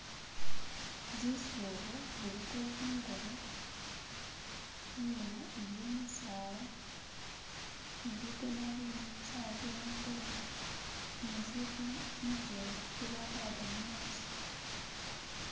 Zizuubo ziliko ziliko zingubo, inyuma iliyo misaala ne bigoona ibindi saawa ze'angolobe ne ziiku bijenga bye bakalaka mumaaso.